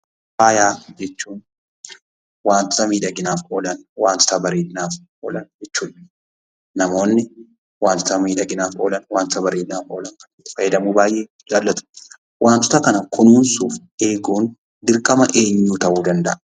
Faaya jechuun wantoota miidhaginaaf oolani, wantoota bareedinaaf oolan jechuudha. Namoonni wantoota miidhaginaaf oolan, wantoota bareedinaaf oolan fayyadamuu baayyee jaallatu. Wantoota kana kunuunsuu fi eeguun dirqama eenyuu ta'uu danda'a?